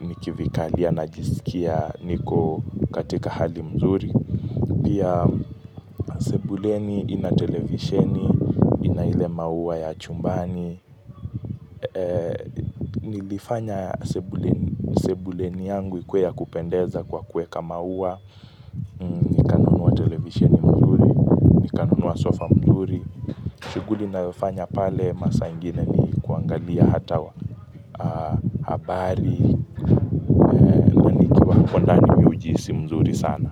nikivikalia najisikia niko katika hali mzuri Pia sebuleni ina televisheni ina ile maua ya chumbani Nilifanya sebuleni yangu ikue ya kupendeza kwa kuweka maua nikanunua televisheni mzuri nikanunuwa sofa mzuri shughuli nayofanya pale masaa ingine ni kuangalia hata wa habari kondani miujisi mzuri sana.